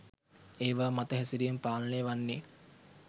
ඒවා මත හැසිරීම පාලනය වන්නෙ